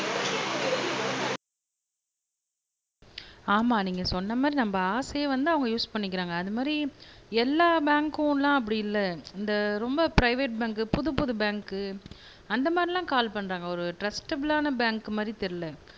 ஆமா நீங்க சொன்ன மாதிரி நம்ம ஆசையை வந்து அவங்க யூஸ் பண்ணிக்கிறாங்க அது மாதிரி எல்லா பேங்க்குல்லாம் அப்படி இல்லை இந்த ரொம்ப பிரைவேட் பேங்க் புதுப்புது பேங்க் அந்த மாதிரி எல்லாம் கால் பண்றாங்க ஒரு ட்ரஸ்டபிளான பேங்க் மாதிரி தெரியலே